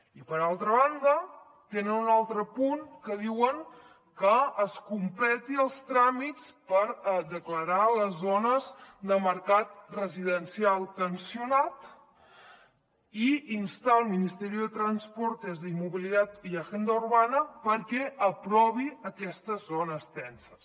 i per altra banda tenen un altre punt que hi diuen que es completin els tràmits per declarar les zones de mercat residencial tensionat i instar el ministerio de transportes movilidad y agenda urbana perquè aprovi aquestes zones tenses